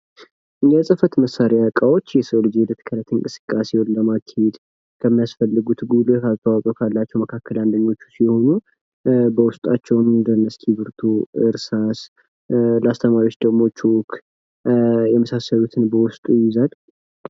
የፅህፈት መሳሪያ እቃዎች የሰዉ ልጅ እንቅስቃሴዉን ለማካሄድ ከሚያስፈልጉት ጉልህ አስተዋፅዖ ካላቸዉ መካከል አንደኞቹ ሲሆኑ በዉስጣቸዉም እንደ እስክርቢቶ፣ እርሳስ ለአስተማሪዎችም ደግሞ ቾክ የመሳሰሉትን በዉስጡ ይይዛል።